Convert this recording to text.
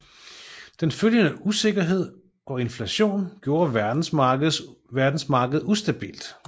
Den følgende usikkerhed og inflation gjorde verdensmarkedet ustabilt